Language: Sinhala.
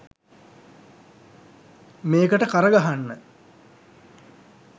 මේකට කර ගහන්න.